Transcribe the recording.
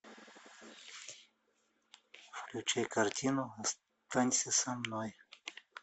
включай картину останься со мной